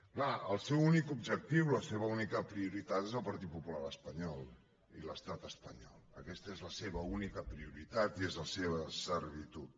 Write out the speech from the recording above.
clar el seu únic objectiu la seva única prioritat és el partit popular espanyol i l’estat espanyol aquesta és la seva única prioritat i és la seva servitud